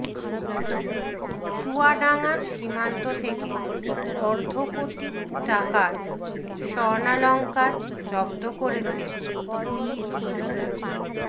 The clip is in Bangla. চুয়াডাঙ্গার সীমান্ত থেকে অর্ধকোটি টাকার স্বর্ণালংকার জব্দ করেছে বিজিবি